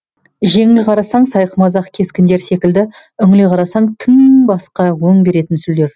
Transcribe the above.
жеңіл қарасаң сайқымазақ кескіндер секілді үңіле қарасаң тым басқа өң беретін сүлдер